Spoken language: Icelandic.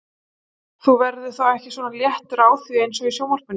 Þú verður þá ekki svona léttur á því eins og í sjónvarpinu?